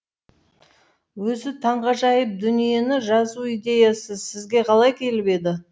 өзі таңғажайып дүниені жазу идеясы сізге қалай келіп еді